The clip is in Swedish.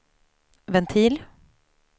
ventil